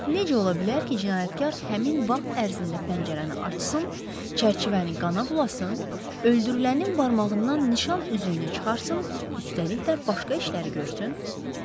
Necə ola bilər ki, cinayətkar həmin vaxt ərzində pəncərəni açsın, çərçivəni qana bulasın, öldürülənin barmağından nişan üzüyünü çıxarsın, üstəlik də başqa işlər görsün?